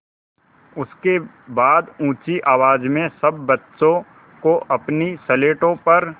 उसके बाद ऊँची आवाज़ में सब बच्चों को अपनी स्लेटों पर